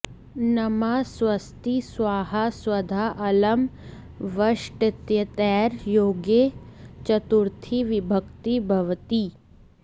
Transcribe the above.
नमः स्वस्ति स्वाहा स्वधा अलम् वषटित्येतैर् योगे चतुर्थी विभक्तिर् भ्वति